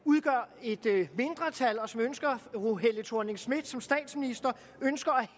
et et mindretal og som ønsker fru helle thorning schmidt som statsminister ønsker